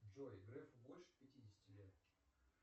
джой грефу больше пятидесяти лет